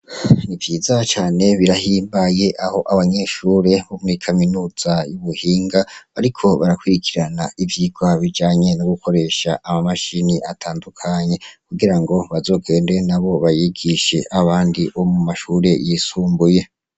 Ni vyiza cane birahimbaye aho abanyeshure bo muri Kaminuza y'ubuhinga bariko barakurikirana ivyigwa bijanye no gukoresha ama mashini atandukanye kugira ngo bazogende nabo bayigishe abandi bo mu mashure yisumbuye.